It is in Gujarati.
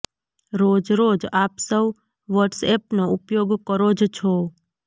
રોજ રોજ આપ સૌ વોટસએપનો ઉપયોગ કરો જ છો